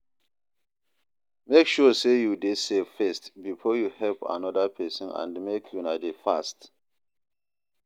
Make sure say you de safe first before you help another persin and make una de fast